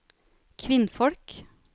kvinnfolk